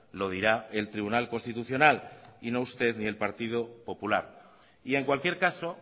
lo dirá el tribunal constitucional y no usted ni el partido popular y en cualquier caso